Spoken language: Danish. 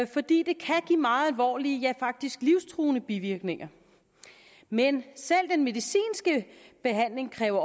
fordi det kan give meget alvorlige ja faktisk livstruende bivirkninger men selv den medicinske behandling kræver